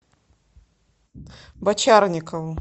бочарникову